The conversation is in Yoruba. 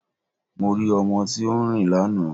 Mo rí ọmọ tí ó ń rin lánàá